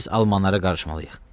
Biz almanlara qarışmalıyıq.